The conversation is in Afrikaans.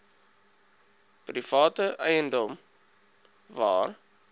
private eiendom waar